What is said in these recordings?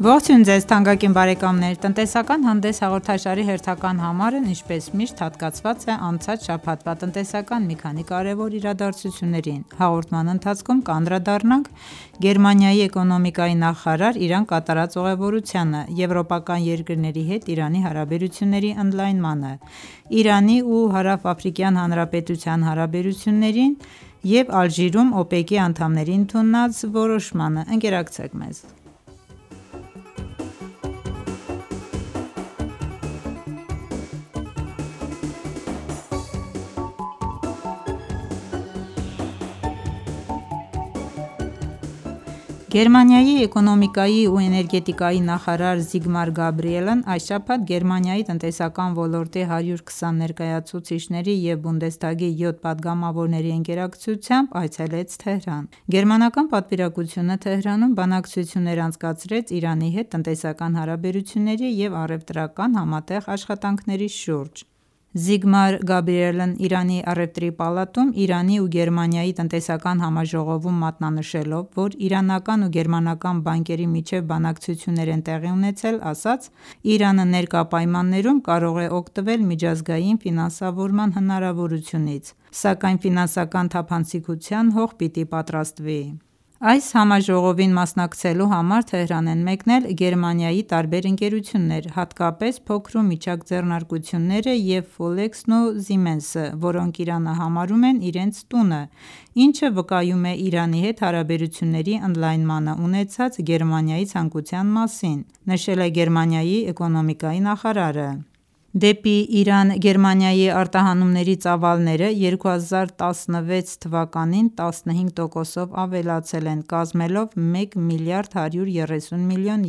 Ողջույն Ձեզ թանկագին բարեկամներ: «Տնտեսական հանդես» հաղորդաշարի հերթական համարն ինչպես միշտ հատկացված է անցած շաբաթվա տնտեսական մի քանի կարևոր իրադարձություններին: Հաղորդման ընթացքում կանդրադառնանք Գերմանիայի էկոնոմիկայի նախարարի Իրան կատարած ուղևորությանը, եվրոպական երկրների հետ Իրանի հարաբերությունների ընդլայնմանը, Իրանի ու Հարավաֆրիկյան Հանրապետության հարաբերություններին և Ալժիրում ՕՊԵԿ-ի անդամների ընդունած որոշմանը:Ընկերակցեք մեզ: Գերմանիայի էկոնոմիկայի ու էներգետիկայի նախարար Զիգմար Գաբրիելն այս շաբաթ Գերմանիայի տնտեսական ոլորտի 120 ներկայացուցիչների և Բոնդեսթագի 7 պատգամավորների ընկերակցությամբ Թեհրան այցելեց: Գերմանական պատվիրակությունը Թեհրանում բանակցություններ անցկացրեց Իրանի հետ տնտեսական հարաբերությունների և առևտրական համատեղ աշխատանքների շուրջ: Զիգմար Գաբրիելն Իրանի առևտրի պալատում Իրանի ու Գերմանիայի տնտեսական համաժողովում մատնանշելով, որ իրանական ու գերմականան բանկերի միջև բանակցություններ են տեղի ունեցել, ասաց, որ Իրանը ներկա պայմաններում կարող է օգտվել միջազգային ֆինանսավորման հնարավորությունից, սակայն ֆինանսական թափանցիկության հող պիտի պատրաստվի: «Այս համաժողովին մասնակցելու համար Թեհրան են մեկնել Գերմանիայի տարբեր ընկերություններ, հատկապես փոքր ու միջակ ձեռնարկությունները և «Ֆոլեքս»-ն ու «Զիմենս»-ը որոնք Իրանը համարում են իրենց տունը, ինչը վկայում է Իրանի հետ հարաբերությունների ընդլայնմանն ունեցած Գերմանիայի ցանկության մասին»,-նշել է Գերմանիայի էկոնոմիկայի նախարարը: Դեպի Իրան Գերմանիայի արտահանումների ծավալները 2016 թվականին 15 տոկոսով ավելացել են կազմելով մեկ միլիարդ 130 միլիոն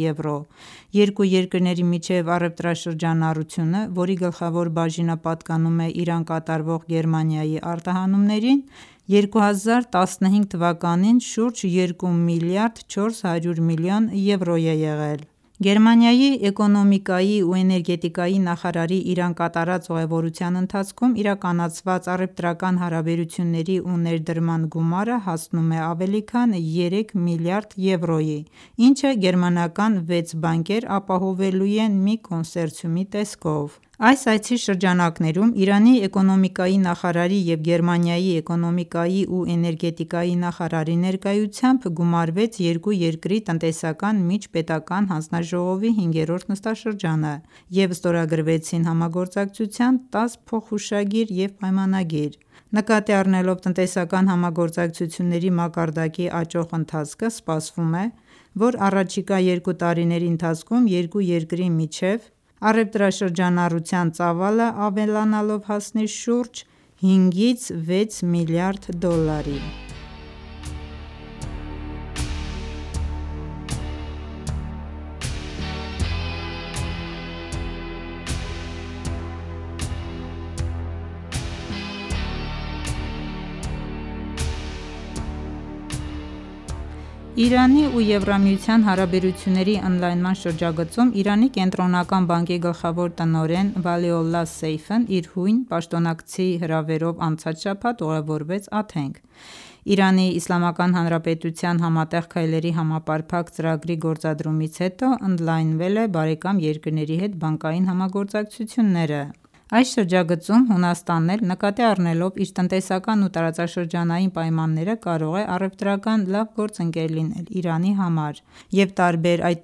եվրո: Երկու երկրի միջև առևտրաշրջանառությունը, որի գլխավոր բաժինը պատկանում է Իրան կատարվող Գերմանիայի արտահանումներին, 2015 թվականին շուրջ երկու միլիարդ 400 միլիոն եվրո է եղել: Գերմանիայի էկոնոմիկայի ու էներգետիկայի նախարարի Իրան կատարած ուղևորության ընթացքում իրականացված առևտրական հարաբերությունների ու ներդրման գումարը հասնում է ավելի քան երեք միլիարդ եվրոյի, ինչը գերմանական վեց բանկեր ապահովելու են մի կոնսերցիումի տեսքով: Այս այցի շրջանակներում Իրանի էկոնոմիկայի նախարարի և Գերմանիայի էկոնոմիկայի ու էներգետիկայի նախարարի ներկայությամբ գումարվեց երկու երկրի տնտեսական միջպետական հանձնաժողովի 5-րդ նստաշրջանը և ստորագրվեցին համագործակցության 10 փոխհուշագիր և պայմանագիր: Նկատի առնելով տնտեսական համագործակցությունների մակարդակի աճող ընթացքը սպասվում է, որ առաջիկա երկու տարիների ընթացքում երկու երկրի միջև առևտրաշրջանառության ծավալն ավելանալով հասնի շուրջ հինգից վեց միլիարդ դոլարի: Իրանի ու ԵՄ-ի հարաբերությունների ընդլայնման շրջագծում Իրանի Կենտրոնական բանկի գլխավոր տնօրեն Վալիոլլահ Սեյֆն իր հույն պաշտոնակցի հրավերով անցած շաբաթ ուղևորվեց Աթենք: ԻԻՀ-ն Համատեղ քայլերի համապարփակ ծրագրի գործադրումից հետո ընդլայնել է բարեկամ երկրների հետ բանկային համագործակցությունները: Այս շրջագծում Հունաստանն էլ նկատի առնելով իր տնտեսական ու տարածաշրջանային պայմանները կարող է առևտրական լավ գործընկեր լինել Իրանի համար և տարբեր, այդ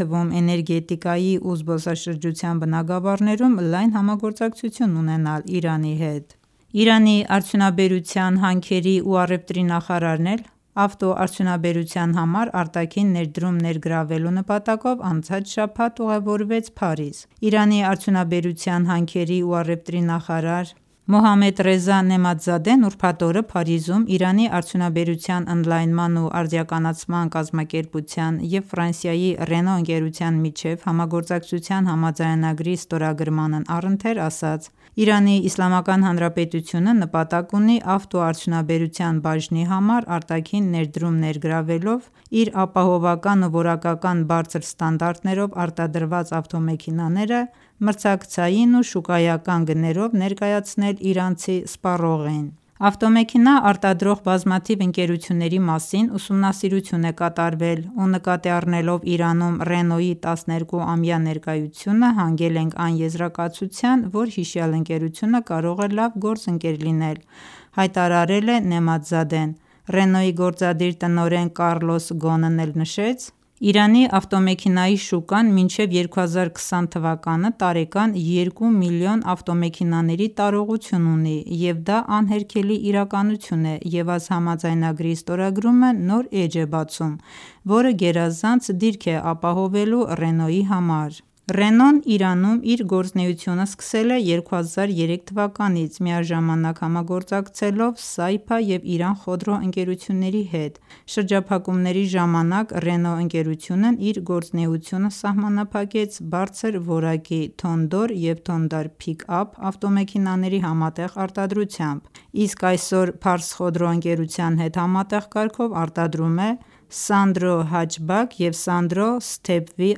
թվում էներգետիկայի ու զբոսաշրջության բնագավառներում լայն համագործակցություն ունենալ Իրանի հետ: Իրանի արդյունաբերության, հանքերի ու առևտրի նախարարն էլ ավտոարդյունաբերության համար արտաքին ներդրում ներգրավելու նպատակով անցած շաբաթ Փարիզ ուղևորվեց: Իրանի արդյունաբերության, հանքերի ու առևտրի նախարար Մոհամմեդռեզա Նեըմաթզադեն ուրբաթ օրը Փարիզում Իրանի արդյունաբերության ընդլայնման ու արդիականացման կազմակերպության և Ֆրանսիայի Ռենո ընկերության միջև համագործակցության համաձայնագրի ստորագրմանն առընթեր, ասաց. «ԻԻՀ-ն նպատակ ունի ավտոարդյունաբերության բաժնի համար արտաքին ներդրում ներգրավելով իր ապահովական ու որակական բարձր ստանդարտներով արտադրված ավտոմեքենաները մրցակցային ու շուկայական գներով ներկայացնել իրանցի սպառողին»: «Ավտոմեքենա արտադրող բազմաթիվ ընկերությունների մասին ուսումնասիրություն է կատարվել ու նկատի առնելով Իրանում Ռենոյի 12-ամյա ներկայությունը հանգել ենք այն եզրակացության, որ հիշյալ ընկերությունը կարող է լավ գործընկեր լինել»,-հայտարարել է Նեըմաթզադեն: Ռենոյի գործադիր տնօրեն Կառլոս Գոնն էլ նշեց. «Իրանի ավտոմեքենայի շուկան մինչև 2020 թվականը տարեկան երկու միլիոն ավտոմեքենաների տարողություն ունի և դա անհերքելի իրականություն է և այս համաձայնագրի ստորագրումը նոր էջ է բացում, որը գերազանց դիրք է ապահովելու Ռենոյի համար»: Ռենոն Իրանում իր գործունեությունը սկսել է 2003 թվականից՝ միաժամանակ համագործակցելով «Սայփա» և «Իրան Խոդրո» ընկերությունների հետ: Շրջափակումների ժամանակ Ռենո ընկերությունն իր գործունեությունը սահմանափակեց բարձր որակի «Թոնդար» և «Թոնդար Փիք Ափ» ավտոմեքենաների համատեղ արտադրությամբ, իսկ այսօր «Փարս Խոդրո» ընկերության հետ համատեղ կարգով արտադրում է «Սանդրո Հաչբաք» և ««Սանդրո Սթեփ Վի»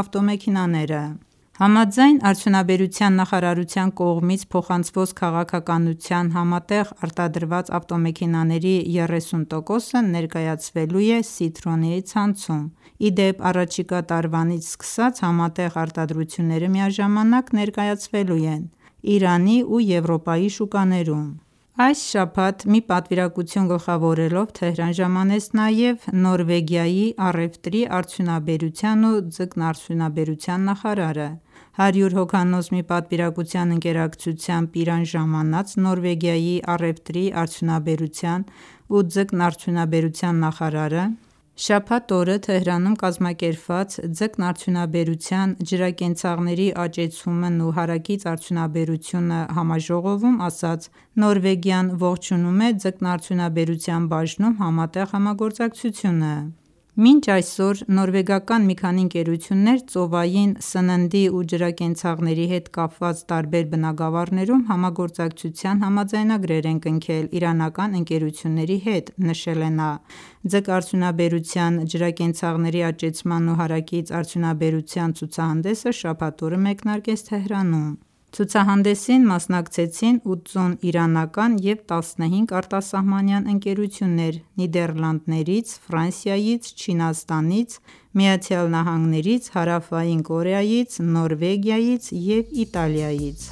ավտոմեքենաները: Համաձայն արդյունաբերության նախարարության կողմից փոխանցված քաղաքականության համատեղ արտադրված ավտոմեքենաների 30 տոկոսը ներկայացվելու է «Սիթրոեն»-ի ցանցում: Ի դեպ, առաջիկա տարվանից սկսած համատեղ արտադրությունները միաժամանակ ներկայացվելու են Իրանի ու Եվրոպայի շուկաներում: Այս շաբաթ մի պատվիրակություն գլխավորելով Թեհրան ժամանեց նաև Նորվեգիայի առևտրի, արդյունաբերության ու ձկնարդյունաբերության նախարարը: 100 հոգանոց մի պատվիրակության ընկերակցությամբ Իրան ժամանած Նորվեգիայի առևտրի, արդյունաբերության ու ձկնարդյունաբերության նախարարը շաբաթ օրը Թեհրանում կազմակերպված «Ձկնարդյունաբերության, ջրակենցաղների աճեցումն ու հարակից արդյունաբերությունը» համաժողովում ասաց. «Նորվեգիան ողջունում է ձկնարդյունաբերության բաժնում համատեղ համագործակցությունը»: «Մինչ այսօր նորվեգական մի քանի ընկերություններ ծովային սննդի ու ջրակենցաղների հետ կապված տարբեր բնագավառներում համագործակցության համաձայնագրեր են կնքել իրանական ընկերությունների հետ»նշել է նա: Ձկնարդյունաբերության, ջրակենցաղների աճեցման ու հարակից արդյունաբերության ցուցահանդեսը շաբաթ օրը մեկնարկեց Թեհրանում: Ցուցահանդեսին մասնակցեցին 80 իրանական և 15 արտասահմանյան ընկերություններ Նիդերլանդներից, Ֆրանսիայից, Չինաստանից, ԱՄՆ-ից, Հարավային Կորեայից, Նորվեգիայից ու Իտալիայից: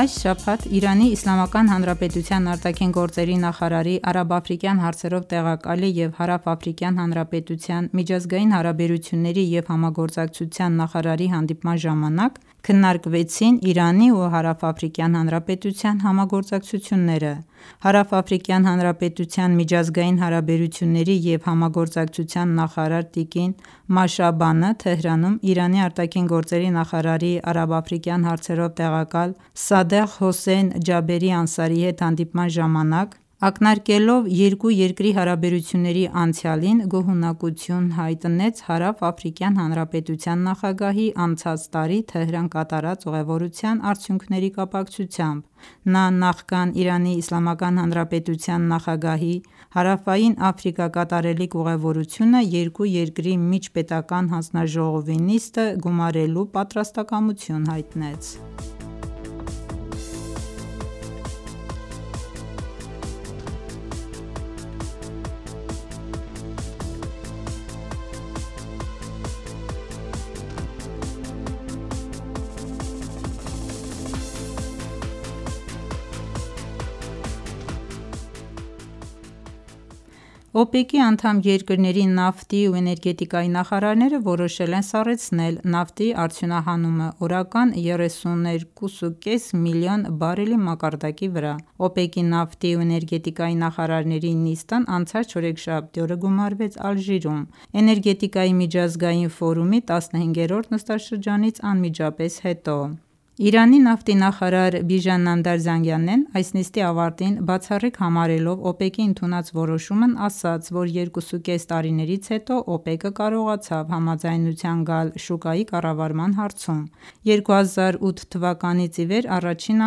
Այս շաբաթ ԻԻՀ ԱԳ նախարարի արաբա-աֆրիկյան հարցերով տեղակալի և Հարավաֆրիկյան Հանրապետության միջազգային հարաբերությունների և համագործակցության նախարարի հանդիպման ժամանակ քննարկվեցին Իրանի ու Հարավաֆրիկյան Հանրապետության համագործակցությունները: Հարավաֆրիկյան Հանրապետության միջազգային հարաբերությունների և համագործակցության նախարար տիկ. Մաշաբանեհը Թեհրանում Իրանի ԱԳ նախարարի արաբա-աֆրիկյան հարցերով տեղակալ Սադեղ Հոսեյն Ջաբերի Անսարիի հետ հանդիպման ժամանակ ակնարկելով երկու երկրի հարաբերությունների անցյալին գոհունակություն հայտնեց Հարավաֆրիկյան Հանրապետության նախագահի անցած տարի Թեհրան կատարած ուղևորության արդյունքների կապակցությամբ: Նա նախքան ԻԻՀ նախագահի Հարավային Աֆրիկա կատարելիք ուղևորությունը երկու երկրի միջպետական հանձնաժողովի նիստը գումարելու պատրաստակամություն հայտնեց: ՕՊԵԿ-ի անդամ երկրների նավթի ու էներգետիկայի նախարարները որոշել են սառեցնել նավթի արդյունահանումը օրական 32.5 մլն բարելի մակարդակի վրա: ՕՊԵԿ-ի նավթի ու էներգետիկայի նախարարների նիստն անցած չորեքշաբթի օրը գումարվեց Ալժիրում՝ Էներգետիկայի միջազգային ֆորումի 15-րդ նստաշրջանից անմիջապես հետո: Իրանի նավթի նախարար Բիժան Նամդար Զանգանեն այս նիստի ավարտին բացառիկ համարելով ՕՊԵԿ-ի ընդունած որոշումն, ասաց, որ 2.5 տարիներից հետո ՕՊԵԿ-ը կարողացավ համաձայնության գալ շուկայի կառավարման հարցում: 2008 թվականից ի վեր առաջին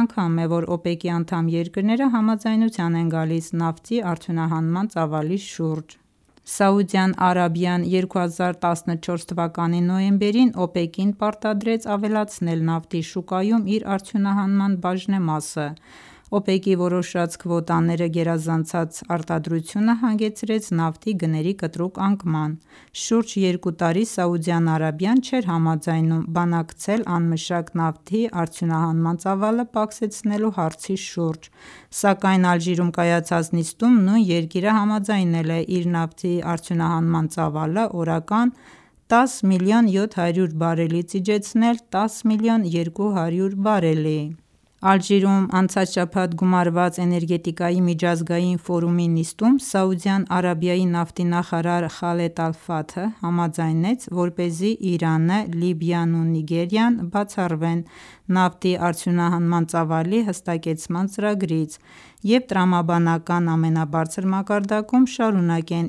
անգամ է ,որ ՕՊԵԿ-ի անդամ երկրները համաձայնության են գալիս նավթի արդյունահանման ծավալի շուրջ: Սաուդյան Արաբիան 2014 թվականի նոյեմբերին ՕՊԵԿ-ին պարտադրեց ավելացնել նավթի շուկայում իր արդյունահանման բաժնեմասը: ՕՊԵԿ-ի որոշած քվոտաները գերազանցած արտադրությունը հանգեցրեց նավթի գների կտրուկ անկման: Շուրջ երկու տարի Սաուդյան Արաբիան չէր համաձայնում բանակցել անմշակ նավթի արդյուհանման ծավալը պակսեցնելու հարցի շուրջ, սակայն Ալժիրում կայացած նիստում, նույն երկիրը համաձայնել է իր նավթի արդյունահանման ծավալը օրական 10 միլիոն 700 բարելից իջեցնել 10 միլիոն 200 բարելի: Ալժիրում անցած շաբաթ գումարված էներգետիկայի միջազգային ֆորումի նիստում Սաուդյան Արաբիայի նավթի նախարար Խալեդ Ալ-Ֆաթհը համաձայնեց, որպեսզի Իրանը, Լիբիան ու Նիգերիան բացառվեն նավթի արդյունահանման ծավալի հստակեցման ծրագրից և տրամաբանական ամենաբարձր մակարդակում շարունակեն